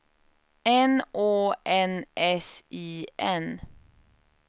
N Å N S I N